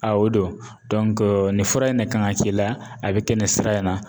o don nin fura in ne kan ka k'i la, a bi kɛ nin sira in na.